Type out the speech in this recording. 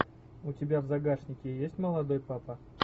у тебя в загашнике есть молодой папа